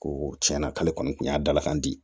Ko tiɲɛna k'ale kɔni tun y'a dalakan di